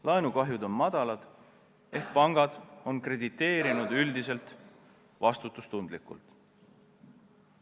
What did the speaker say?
Laenukahjud on väikesed, seega pangad on krediteerinud vastutustundlikult.